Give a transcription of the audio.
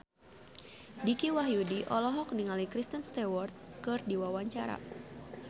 Dicky Wahyudi olohok ningali Kristen Stewart keur diwawancara